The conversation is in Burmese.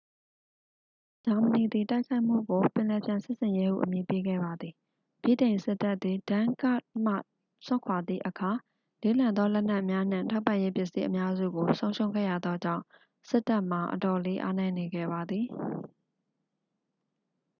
"ဂျာမနီသည် တိုက်ခိုက်မှုကို "ပင်လယ်ဖျံစစ်ဆင်ရေး" ဟု အမည်ပေးခဲ့ပါသည်။ ဗြိတိန်စစ်တပ်သည် dunkirk မှစွန့်ခွာသည့်အခါ လေးလံသောလက်နက်များနှင့် ထောက်ပံ့ရေးပစ္စည်းအများစုကို ဆုံးရှုံးခဲ့ရသောကြောင့် စစ်တပ်မှာ အတော်လေးအားနည်းနေခဲ့ပါသည်။